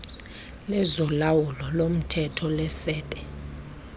lezolawulo lomthetho lesebe